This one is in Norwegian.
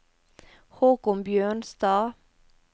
Haakon Bjørnstad